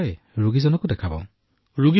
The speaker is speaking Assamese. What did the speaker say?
ডাঃ মদন মণিঃ ৰোগীকো চাব পাৰিব চাৰ